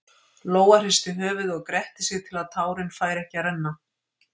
Lóa hristi höfuðið og gretti sig til að tárin færu ekki að renna.